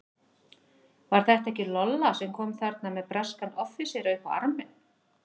Var þetta ekki Lolla sem kom þarna með breskan offísera upp á arminn?